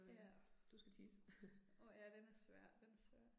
Ja. Åh ja den er svær, den er svær